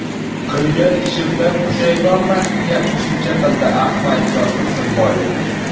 Qilgan ishimdan pushaymonman”, deya qo‘shimcha qildi Ahmadjon Tursunboyev.